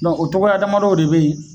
o togoya damadɔw de be yen